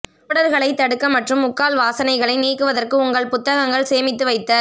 ஓடர்களைத் தடுக்க மற்றும் முக்கால் வாசனைகளை நீக்குவதற்கு உங்கள் புத்தகங்கள் சேமித்து வைத்தல்